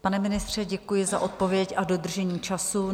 Pane ministře, děkuji za odpověď a dodržení času.